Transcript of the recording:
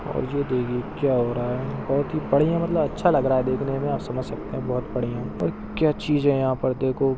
क्या हो रहा है? बहुत ही बढ़िया मतलब अच्छा लग रहा है देखने में आप समझ सकते हैं बहुत बढ़िया है क्या चीज हैं यहाँ पर देखो--